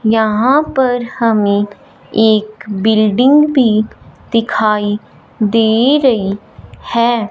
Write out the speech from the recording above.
यहां पर हमें एक बिल्डिंग भी दिखाई दे रही है।